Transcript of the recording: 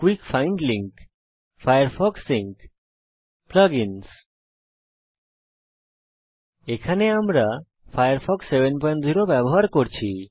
quick find link Firefox sync plug ins এখানে আমরা Ubuntu 1004 এ ফায়ারফক্স 70 ব্যবহার করছি